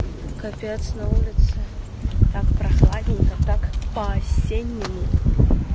капец на улице так прохладненько так по осеннему